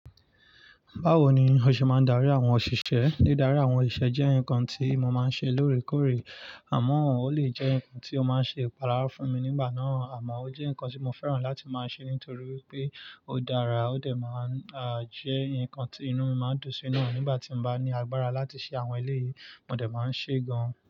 Báwo ni o ṣe máa ń darí àwọn òṣìṣẹ́? Dídarí àwọn osiṣe jẹ́ nǹkan tí mo máa ń ṣe lóòrèkóòrè, àmọ́ ó lè jẹ́ ǹnkan tí ó máa ń ṣe ìpalára fún mi nígbà náà, àmọ́ ó jẹ́ ǹnkan tí mo fẹ́ràn láti máa ṣe nítorí wipé ó dára ó dẹ̀ máa ń, à, jẹ́ ǹnkan tí inú mi máa ń dùn sí náà. Nígbà tí n bá ní agbára láti ṣe àwọn eléyìí, mo dẹ̀ máa ń ṣe gan.